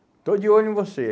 Estou de olho em você.